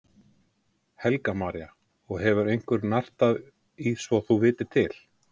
Helga María: Og hefur einhver nartað í svo þú vitir til?